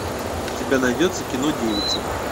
у тебя найдется кино девица